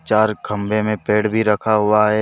चार खम्बे में पेड़ भी रखा हुआ है।